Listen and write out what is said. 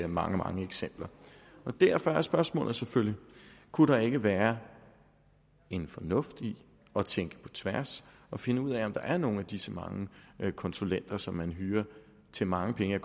mange mange eksempler derfor er spørgsmålet selvfølgelig kunne der ikke være en fornuft i at tænke på tværs og finde ud af om der er nogle af disse mange konsulenter som man hyrer til mange penge